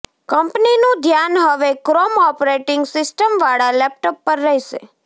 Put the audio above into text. કંપનીનું ધ્યાન હવે ક્રોમ ઑપરેટિંગ સિસ્ટમ વાળા લેપટોપ પર રહેશે